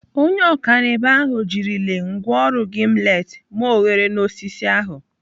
Onye ọkanibo ahụ jirile ngwaọrụ gimlet mee oghere n'osisi ahụ.